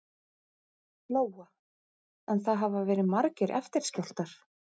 Lóa: En það hafa verið margir eftirskjálftar?